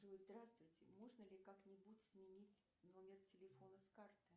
джой здравствуйте можно ли как нибудь сменить номер телефона с карты